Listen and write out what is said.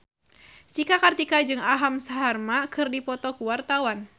Cika Kartika jeung Aham Sharma keur dipoto ku wartawan